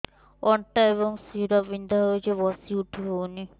ଅଣ୍ଟା ଏବଂ ଶୀରା ବିନ୍ଧା ହେଉଛି ବସି ଉଠି ହଉନି